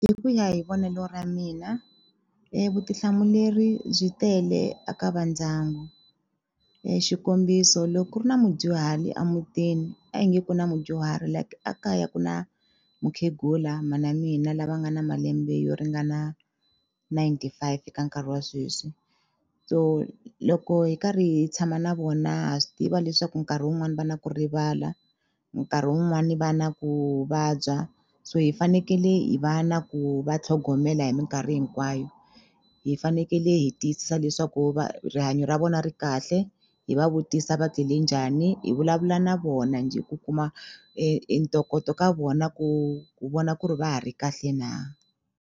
Hi ku ya hi vonelo ra mina vutihlamuleri byi tele a ka va ndyangu xikombiso loko ku ri na mudyuhari a mutini a hi nge ku na mudyuhari like a kaya ku na mukhegula mhana mina lava nga na malembe yo ringana ninety five eka nkarhi wa sweswi so loko hi karhi hi tshama na vona ha swi tiva leswaku nkarhi wun'wani va na ku rivala nkarhi wun'wani va na ku vabya so hi fanekele hi va na ku va tlhogomela hi minkarhi hinkwayo hi fanekele hi tiyisisa leswaku rihanyo ra vona ri kahle hi va vutisa va tlele njhani hi vulavula na vona njhe ku kuma e ntokoto ka vona ku ku vona ku ri va ha ri kahle na.